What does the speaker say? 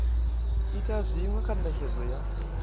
ita zwinwe kha netshedzo ya